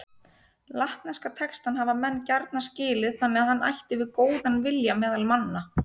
Latneska textann hafa menn gjarna skilið þannig að hann ætti við góðan vilja meðal manna.